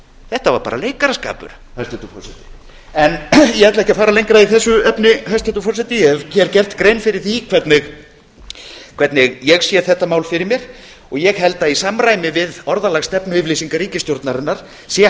þetta var bara leikaraskapur ég ætla ekki að fara lengra í þessu efni hæstvirtur forseti ég hef gert grein fyrir því hvernig ég sé þetta mál fyrir mér og ég held að í samræmi við orðalag stefnuyfirlýsingar ríkisstjórnarinnar sé